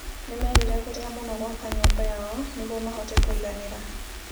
Nĩ meriragĩria mũno gwaka nyũmba yao nĩguo mahote kũinganera